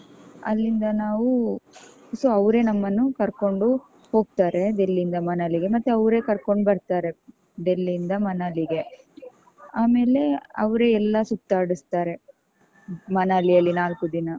ಅಲ್ಲಿಂದ ನಾವು so ಅವ್ರೆ ನಮ್ಮನ್ನು ಕರ್ಕೊಂಡು ಹೋಗ್ತಾರೆ Delhi ಯಿಂದ Manali ಗೆ ಮತ್ತೆ ಅವ್ರೆ ಕರ್ಕೊಂಡ್ ಬರ್ತಾರೆ. Delhi ಇಂದ ಮನಾಲಿಗೆ. ಆಮೇಲೆ ಅವ್ರೆ ಎಲ್ಲಾ ಸುತ್ತಾಡಸ್ತಾರೆ. ಮನಲಿಯಲ್ಲಿ ನಾಲ್ಕು ದಿನ.